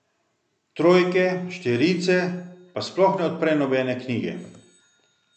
Trojke, štirice, pa sploh ne odpre nobene knjige.